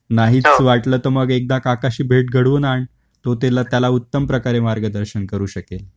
फक्त हे काही जे गोष्टी सांगितल्या या त्याला समजावून सांग, नाहीच वाटल तर मग एकदा काकाशी भेट घडवून आण. तो तेला, त्याला उत्तम प्रकारे मार्गदर्शन करू शकेल